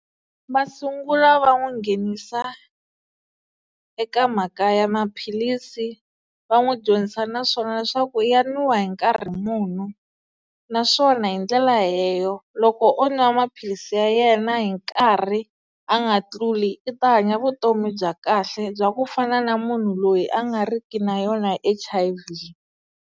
Va sungula va n'wi nghenisa eka mhaka ya maphilisi va n'wi dyondzisa naswona leswaku ya nwiwa hi nkarhi muni naswona hi ndlela leyo loko o nwa maphilisi ya yena hi nkarhi a nga tluli i ta hanya vutomi bya kahle bya ku fana na munhu loyi a nga riki na yona H_I_V.